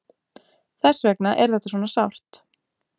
Þess vegna er þetta svona sárt.